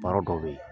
Baara dɔw bɛ ye